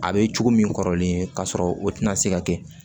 A bɛ cogo min kɔrɔlen ka sɔrɔ o tɛna se ka kɛ